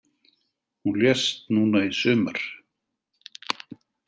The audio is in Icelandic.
Hún lést núna í sumar.